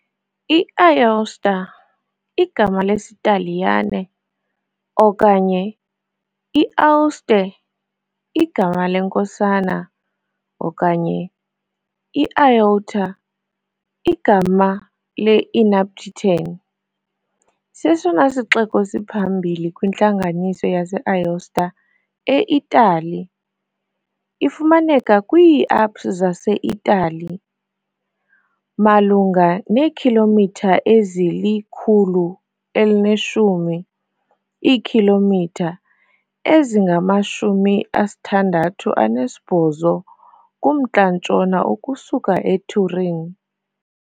I-Aosta, igama lesiTaliyane, okanye i-Aouste, igama leNkosana, okanye i-Aoûta, igama le-Inarpitan, sesona sixeko siphambili kwiNtlambo yase -Aosta e- Itali. Ifumaneka kwiiAlps zaseItali, malunga neekhilomitha ezili-110, iikhilomitha ezingama-68, kumntla-ntshona ukusuka eTurin.